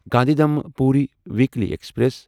Gandhidham Puri weekly express